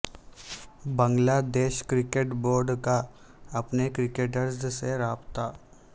بنگلہ دیش cricket board کا اپنے کرکٹرز سے رابطہ